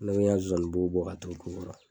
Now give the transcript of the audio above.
Ne ya nsonsani bo bɔ k'a turu kogo la